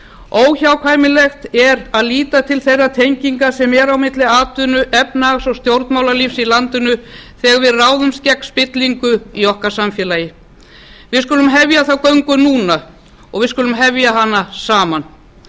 óhjákvæmilegt er að líta til þeirra tenginga sem eru á milli atvinnu efnahags og stjórnmálalífs í landinu þegar við ráðumst gegn spillingu í okkar samfélagi við skulum hefja þá göngu núna og við skulum hefja hana saman